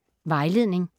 Vejledning: